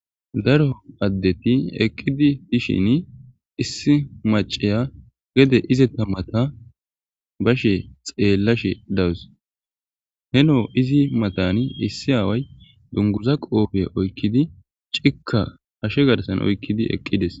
Daro addeti eqqidi dishin issi maceya gede ize ta mata bashe xeellashe dawus helo izi matani issi aaway dunguza qoofe oykkidi cikka ashe garsan oykkidi eqqides.